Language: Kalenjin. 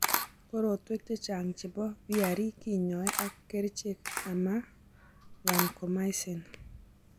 Korotwek chechang' chebo VRE kinyoee ak kerchek ama vancomycin